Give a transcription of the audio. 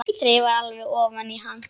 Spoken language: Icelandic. Þreifar alveg ofan í hann.